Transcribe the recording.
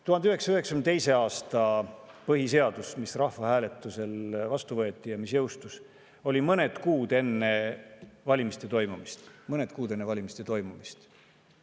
1992. aastal rahvahääletusel vastu võetud ja jõustunud põhiseadus oli mõned kuud enne valimiste toimumist.